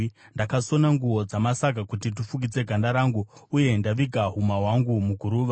“Ndakasona nguo dzamasaga kuti ndifukidze ganda rangu, uye ndaviga huma yangu muguruva.